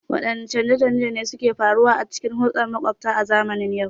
Waɗanne canje-canje ne suka faru a cikin hulɗar maƙwabta a zamanin yau?